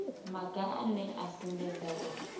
maga ane a sumbedza uri